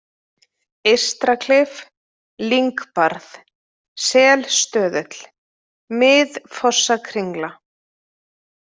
Eystraklif, Lyngbarð, Selstöðull, Mið-Fossakringla